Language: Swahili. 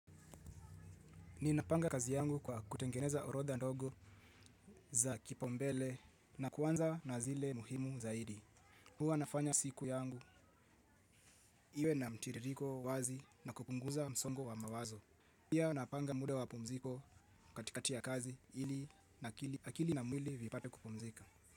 Ninapanga kazi yangu kwa kutengeneza orodha ndogo za kipaumbele na kuanza na zile muhimu zaidi. Huwa nafanya siku yangu iwe na mtiririko wazi na kupunguza msongo wa mawazo. Pia napanga muda wa mapumziko katikati ya kazi ili nakili akili na mwili vipate kupumzika.